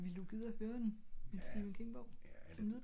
ville du gide at høre den? en stephen king bog som lydbog?